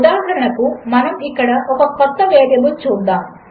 ఉదాహరణకు మనముఇక్కడఒకకొత్తవేరియబుల్చూద్దాము